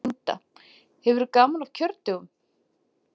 Linda: Hefurðu gaman af kjördögum?